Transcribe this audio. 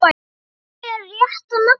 Ert þú með rétta nafnið?